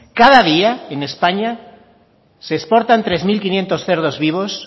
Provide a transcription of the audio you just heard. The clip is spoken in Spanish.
cada día en españa se exportan tres mil quinientos cerdos vivos